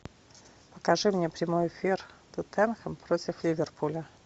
покажи мне прямой эфир тоттенхэм против ливерпуля